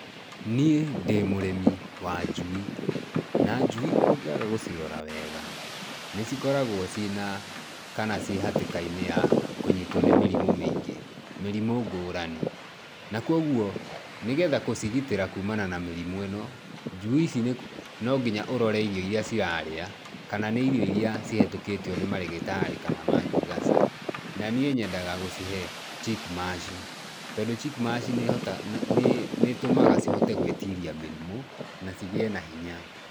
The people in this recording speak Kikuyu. Niĩ ndĩ mũrĩmi wa njui na njui ũngĩaga gũcirora wega nĩ cikoragwo cíĩna kana ciĩ hatĩkainĩ ya kũnyitwo nĩ mĩrimũ mĩingĩ mĩrimũ ngũrani. Na kwoguo nĩgetha gũcigitĩra kuumana na mĩrimũ ĩno, njui ici nonginya ũrore irio irĩa cirarĩa kana nĩ irio irĩa cihĩtũkĩtio nĩ marĩgĩtarĩ kana ma girigasa, na niĩ nyendaga gũcihe Chick Mash tondu Chick Mash nĩ ĩtũmaga cihote gwĩtiria mĩrimũ na cigĩe na hinya.